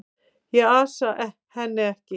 Ég ansa henni ekki.